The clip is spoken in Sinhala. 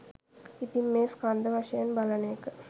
ඉතින් මේ ස්කන්ධ වශයෙන් බලන එක